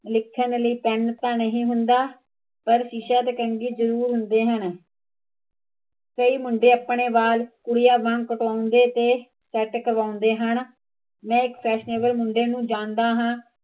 ਲਿਖਣ ਲਈ ਪੈਨ ਤਾਂ ਨਹੀਂ ਹੁੰਦਾ ਪਰ ਸ਼ੀਸ਼ਾ ਤੇ ਕੰਘੀ ਤਾਂ ਜਰੂਰ ਹੁੰਦੇ ਹਨ ਕਈ ਮੁੰਡੇ ਆਪਣੇ ਵੱਲ ਕੁੜੀਆ ਵਾਂਗ ਕਟਾਉਂਦੇ ਤੇ ਕਰਵਾਉਂਦੇ ਹਨ ਮੈਂ ਇੱਕ ਮੁੰਡੇ ਨੂੰ ਜਾਣਦਾ ਹਾਂ